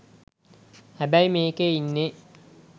හැබැයි මේකේ ඉන්නේ